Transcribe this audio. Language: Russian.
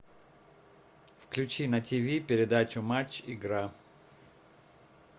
включи на тв передачу матч игра